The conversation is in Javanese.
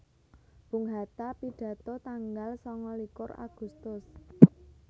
Bung Hatta pidato tanggal sangalikur Agustus